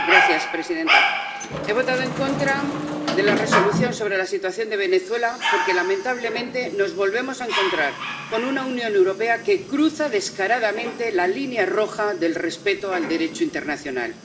Señora presidenta, he votado en contra de la Resolución sobre la situación de Venezuela porque, lamentablemente, nos volvemos a encontrar con una Unión Europea que cruza descaradamente la línea roja del respeto al Derecho internacional.